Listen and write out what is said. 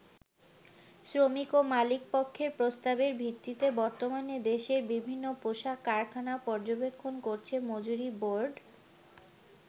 শ্রমিক ও মালিক পক্ষের প্রস্তাবের ভিত্তিতে বর্তমানে দেশের বিভিন্ন পোশাক কারখানা পর্যবেক্ষণ করছে মজুরি বোর্ড।